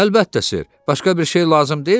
Əlbəttə Sir, başqa bir şey lazım deyil ki?